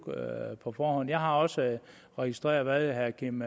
på forhånd jeg har også registreret hvad herre kim